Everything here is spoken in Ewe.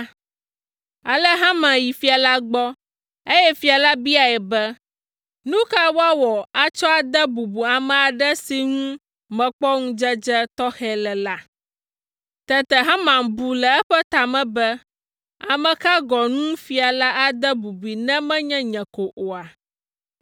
Ale Haman yi fia la gbɔ, eye fia la biae be, “Nu ka woawɔ atsɔ ade bubu ame aɖe si ŋu mekpɔ ŋudzedze tɔxɛ le la?” Tete Haman bu le eƒe ta me be, “Ame ka gɔ̃ ŋu fia la ade bubui ne menye nye ko oa?”